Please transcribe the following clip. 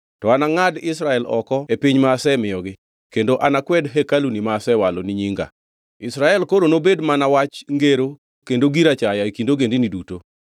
to anangʼad Israel oko e piny ma asemiyogi kendo anakwed hekaluni ma asewalo ni Nyinga. Israel koro nobed mana wach ngero kendo gir achaya e kind ogendini duto.